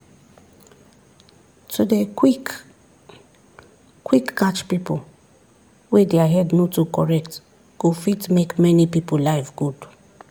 to dey quick quick catch people wey their head no too correct go fit make many people life good